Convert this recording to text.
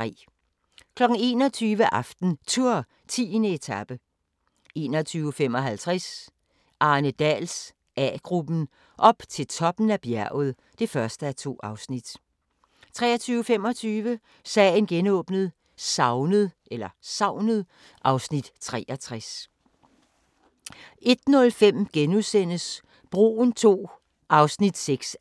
21:00: AftenTour: 10. etape 21:55: Arne Dahls A-gruppen: Op til toppen af bjerget (1:2) 23:25: Sagen genåbnet: Savnet (Afs. 63) 01:05: Broen II (6:10)*